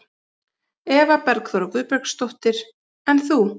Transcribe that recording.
Eva Bergþóra Guðbergsdóttir: En þú?